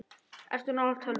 Ertu nálægt tölvu?